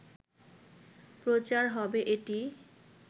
প্রচার হবে এটি